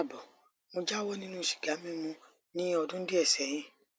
kaabo mo jáwọ nínú sìgá mímu ní ọdún díẹ sẹyìn